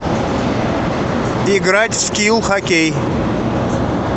играть в скил хоккей